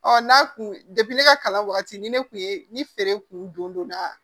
Ɔ n'a kun ne ka kalan wagati ni ne kun ye ni feere kun donna